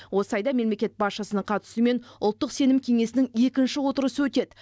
осы айда мемлекет басшысының қатысуымен ұлттық сенім кеңесінің екінші отырысы өтеді